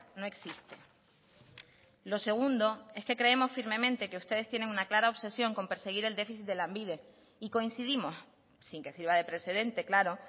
no existe lo segundo es que creemos firmemente que ustedes tienen una clara obsesión con perseguir el déficit de lanbide y coincidimos sin que sirva de precedente claro